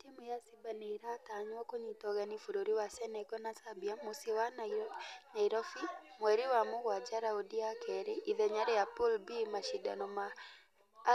Timũ ya simba nĩiratanywo kũnyita ũgeni bũrũri wa senegal na zambia mũciĩ wa nyairobi mweri wa mũgwaja raundi ya kerĩ ithenya rĩa pool b mashidano ma